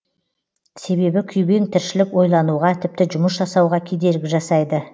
себебі күйбең тіршілік ойлануға тіпті жұмыс жасауға кедергі жасайды